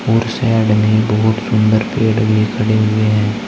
और साइड में बहुत सुंदर पेड़ भी खड़े हुए हैं।